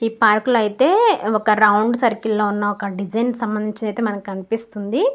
ఈ పార్క్ లో అయితే ఒక రౌండ్ సర్కిల్ లో ఉన్నా ఒక డిజైన్ కి సంభందించినది అయితే మనకి కనిపిస్తుంది.